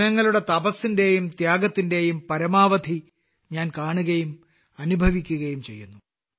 ജനങ്ങളുടെ തപസ്സിന്റെയും ത്യാഗത്തിന്റെയും പരമാവധി ഞാൻ കാണുകയും അനുഭവിക്കുകയും ചെയ്യുന്നു